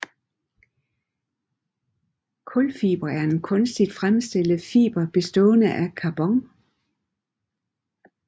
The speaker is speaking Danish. Kulfiber er en kunstigt fremstillet fiber bestående af carbon